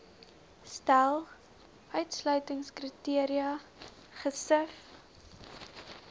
stel uitsluitingskriteria gesif